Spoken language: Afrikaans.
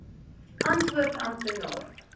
antwoord amptenaar